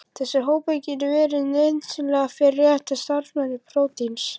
Þessir hópar geta verið nauðsynlegir fyrir rétta starfsemi prótíns.